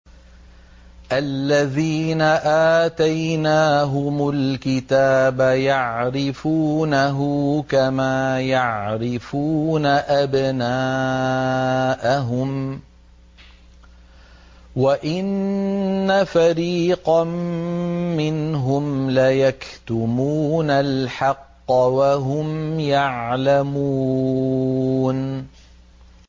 الَّذِينَ آتَيْنَاهُمُ الْكِتَابَ يَعْرِفُونَهُ كَمَا يَعْرِفُونَ أَبْنَاءَهُمْ ۖ وَإِنَّ فَرِيقًا مِّنْهُمْ لَيَكْتُمُونَ الْحَقَّ وَهُمْ يَعْلَمُونَ